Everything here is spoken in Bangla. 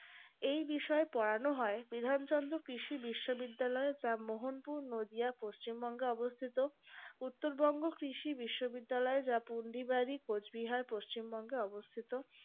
এই বিষয়ে পড়ানো হয় বিধানচন্দ্র কৃষি বিশ্ববিদ্যালয় রামমোহনপুর নদীয়া পশ্চিমবঙ্গে অবস্থিত উত্তরবঙ্গ কৃষি বিশ্ববিদ্যালয় যা পুন্ডিবাড়ির কোচবিহার পশ্চিমবঙ্গে অবস্থিত